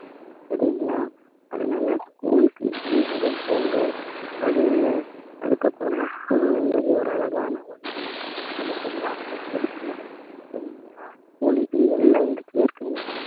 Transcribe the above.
சரிங்களா அதனால school க்கு எல்லாரும் போங்க படிங்க அதுக்கப்புறமா school memory ஒரு அழகான ஒரு இது அது எல்லாருக்கும் கிடைக்கணும் சரிங்களா school இப்ப எல்லா இடத்திலேயும் இருக்குங்க